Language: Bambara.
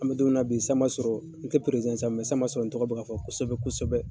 An bɛ don min na bi san b'a sɔrɔ, n tɛ sa san b'a sɔrɔ, n tɔgɔ bɛ ka fɔ kosɛbɛ kosɛbɛ.